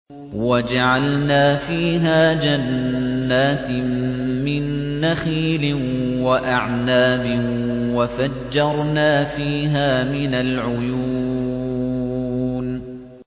وَجَعَلْنَا فِيهَا جَنَّاتٍ مِّن نَّخِيلٍ وَأَعْنَابٍ وَفَجَّرْنَا فِيهَا مِنَ الْعُيُونِ